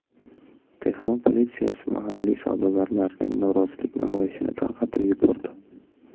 Tehron politsiyasi mahalliy savdogarlarning norozilik namoyishini tarqatib yubordi.